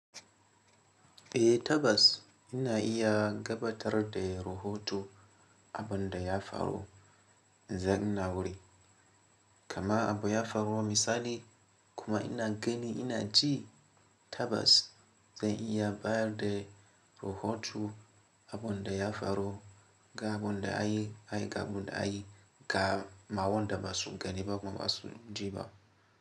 Eh tabbas ina iya gabatar da rahoto abin da ya faru in zan ina wurin. Kama abu ya faru misali kuma ina gani ina ji tabas zan iya bayar da rahoto abun da ya faru ga abun da a yi, a yi ga abin da a yi ga ma wanda ba su gani ba ba ma su ji ba.